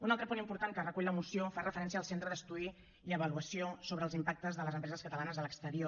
un altre punt important que recull la moció fa referència al centre d’estudi i avaluació sobre els impactes de les empreses catalanes a l’exterior